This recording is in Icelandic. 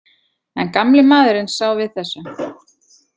En gamli maðurinn sá við þessu.